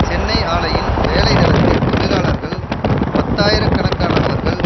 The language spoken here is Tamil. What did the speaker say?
சென்னை ஆலையின் வேலைதளத்தில் தொழிலாளர்கள் பத்தாயிரக்கணக்கானவர்கள்